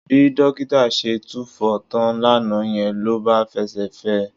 Bí dókítà ṣe túfọ̀ tán lánàá yẹn ló bá fẹsẹ̀ fẹ́ ẹ